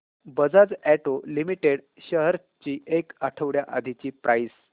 Bajaj auto limited shares ची एक आठवड्या आधीची प्राइस